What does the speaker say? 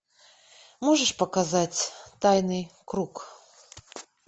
можешь показать тайный круг